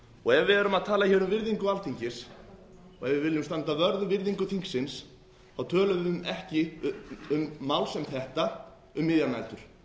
og ef við erum að tala um virðingu alþingis og ef við viljum standa vörð um virðingu þingsins þá tölum við ekki um mál sem þetta um miðjar nætur